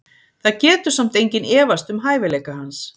Það getur samt enginn efast um hæfileika hans.